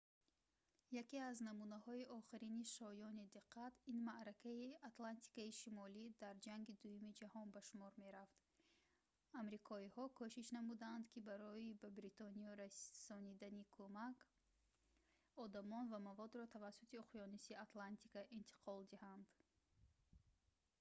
яке аз намунаҳои охирини шоёни диққат ин маъракаи атлантикаи шимолӣ дар ҷанги дуюми ҷаҳон ба шумор мерафт амрикоиҳо кӯшиш намуданд ки барои ба бритониё расонидани кумак одамон ва маводро тавассути уқёнуси атлантика интиқол диҳанд